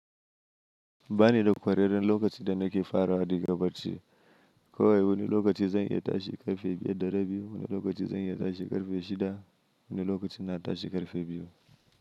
Ba ni da ƙwarewar lokacin da nake fara haɗi gaba ce. Ko wani lokaci zan iya tashi ƙarfe biyar da rabi, wani lokaci zan iya tashi ƙarfe shida, wani lokaci na tashi ƙarfe biyu.